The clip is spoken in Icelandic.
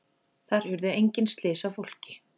Þar urðu engin slys á fólki